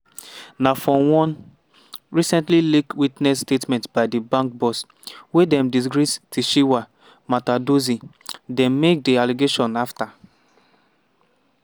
na for one recently leaked witness statement by di bank boss wey dem disgrace tshifhiwa matodzi dem make di allegation afta